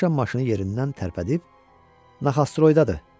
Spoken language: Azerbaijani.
Saşa maşını yerindən tərpədib, Naxostroyda, dedi.